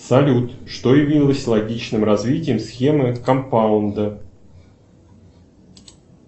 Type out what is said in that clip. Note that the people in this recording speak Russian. салют что явилось логичным развитием схемы компаунда